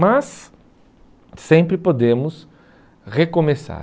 Mas sempre podemos recomeçar.